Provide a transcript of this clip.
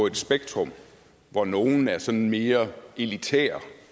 et spektrum hvor nogle er sådan mere elitære